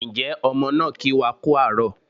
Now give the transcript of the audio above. Ǹjẹ́ ọmọ náà kí wá kú àárọ̀